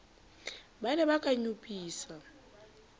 ba ne ba ka nyopisa